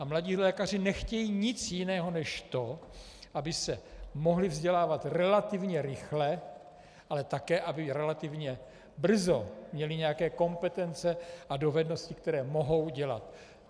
A mladí lékaři nechtějí nic jiného než to, aby se mohli vzdělávat relativně rychle, ale také, aby relativně brzo měli nějaké kompetence a dovednosti, které mohou dělat.